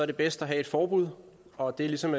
det bedst at have et forbud og det er ligesom